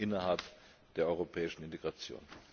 innerhalb der europäischen Integration.